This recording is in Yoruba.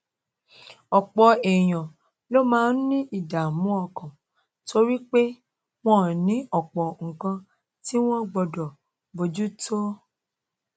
òpò èèyàn ló máa ń ní ìdààmú ọkàn torí pé wón ní òpò nǹkan tí wón gbódò bójú tó